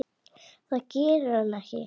Það gerir hann ekki!